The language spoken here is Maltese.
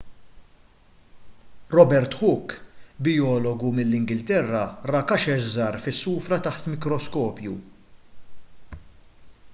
robert hooke bijologu mill-ingilterra ra kaxex żgħar fis-sufra taħt mikroskopju